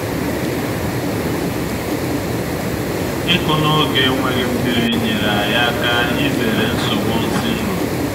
ịkụ n’oge enweghị nmiri nyere anyị aka izere nsogbu nsi nro